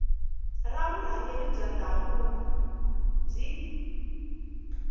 ra vurhangeri bya ndhavuko byi